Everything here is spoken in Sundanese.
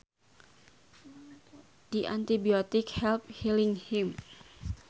The antibiotic helped healing him